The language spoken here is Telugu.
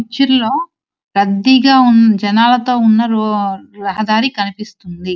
పిక్చర్ లో రద్దీగా ఉం-జనాలతో ఉన్న రో-రహదారి కనిపిస్తుంది.